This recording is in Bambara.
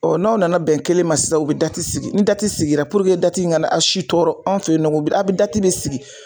Ɔ n'aw nana bɛn kelen ma sisan u be dati sigi ni dati sigi puruke dati in kana a si tɔɔrɔ an fe yen nɔ a be dati de sigi